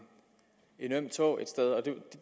øm tå et sted og